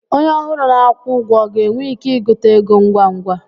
Onye ọhụrụ na-akwụ ụgwọ ọ ga-enwe ike ịgụta ego ngwa ngwa?